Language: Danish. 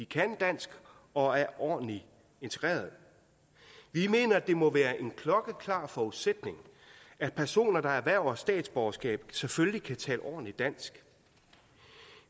kan dansk og er ordentligt integreret vi mener det må være en klokkeklar forudsætning at personer der erhverver statsborgerskab selvfølgelig kan tale ordentligt dansk